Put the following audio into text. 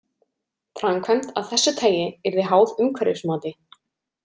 Framkvæmd af þessu tagi yrði háð umhverfismati.